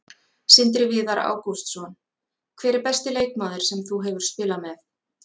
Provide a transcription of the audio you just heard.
Sindri Viðar Ágústsson Hver er besti leikmaður sem þú hefur spilað með?